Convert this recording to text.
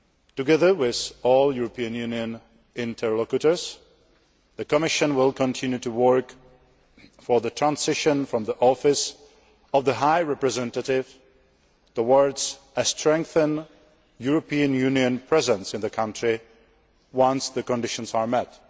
Together with all European Union interlocutors, the Commission will continue to work for the transition from the office of the High Representative towards a strengthened European Union presence in the country once the conditions are met.